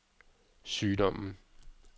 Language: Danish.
sygdommen